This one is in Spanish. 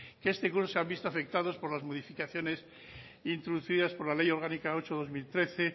que este curso se han visto afectados por las modificaciones introducidas por la ley orgánica ocho barra dos mil trece